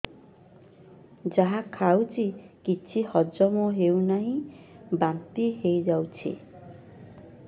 ଯାହା ଖାଉଛି କିଛି ହଜମ ହେଉନି ବାନ୍ତି ହୋଇଯାଉଛି